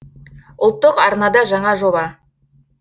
ұлттық арнада жаңа жоба